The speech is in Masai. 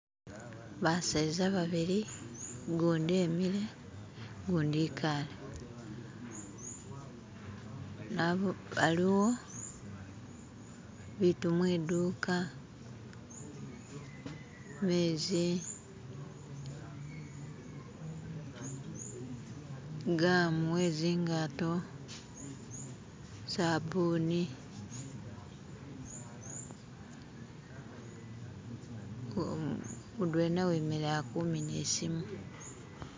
Ba'seza babili gudi e'mile, gudi e'kale, aliwo bitu mwi'duka; mezi, gamu we'zingato, sabuni, mudwena weneyo ali kumina isimu